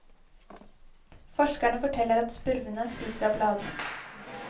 Forskerne forteller at spurvene spiser av bladene.